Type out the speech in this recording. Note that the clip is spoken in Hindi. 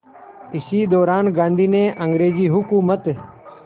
इसी दौरान गांधी ने अंग्रेज़ हुकूमत